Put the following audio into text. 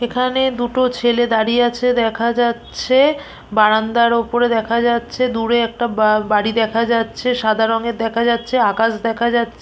এখানে দুটো ছেলে দাঁড়িয়ে আছে দেখা যাচ্ছে বারান্দার ওপরে দেখা যাচ্ছে দূরে একটা বা বাড়ি দেখা যাচ্ছে সাদা রঙের দেখা যাচ্ছে আকাশ দেখা যাচ--